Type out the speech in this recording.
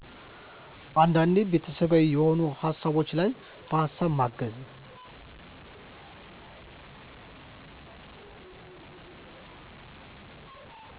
አንዳንዴ ቤተሠባዊ የሆኑ ሀሳቦች ላይ በሀሳብ ማገዝ